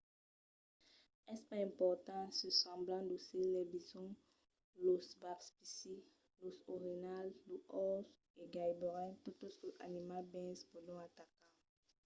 es pas important se semblan docils los bisonts los wapitis los orinhals los orses e gaireben totes los animals bèls pòdon atacar